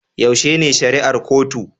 Yaushe ne shari'ar kotu